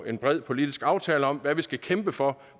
en bred politisk aftale om hvad vi skal kæmpe for